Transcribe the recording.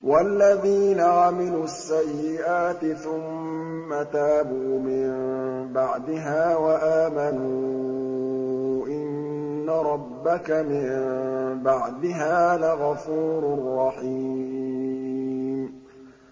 وَالَّذِينَ عَمِلُوا السَّيِّئَاتِ ثُمَّ تَابُوا مِن بَعْدِهَا وَآمَنُوا إِنَّ رَبَّكَ مِن بَعْدِهَا لَغَفُورٌ رَّحِيمٌ